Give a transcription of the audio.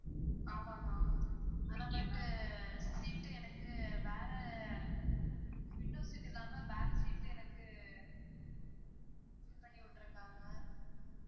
ஆமாங்க ma'am ஆனா but seat ட்டு எனக்கு வேற window seat இல்லா back seat எனக்கு இது பண்ணி விட்டுருக்காங்க